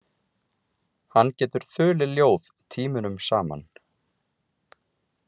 Hann getur þulið ljóð tímunum saman.